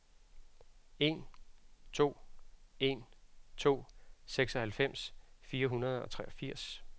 en to en to seksoghalvfems fire hundrede og treogfirs